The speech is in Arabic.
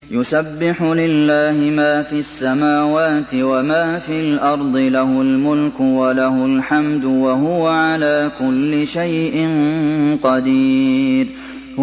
يُسَبِّحُ لِلَّهِ مَا فِي السَّمَاوَاتِ وَمَا فِي الْأَرْضِ ۖ لَهُ الْمُلْكُ وَلَهُ الْحَمْدُ ۖ وَهُوَ عَلَىٰ كُلِّ شَيْءٍ قَدِيرٌ